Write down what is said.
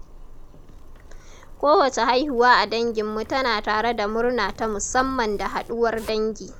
Kowace haihuwa a danginmu tana tare da murna ta musamman da haɗuwar dangi.